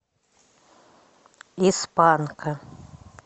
из панка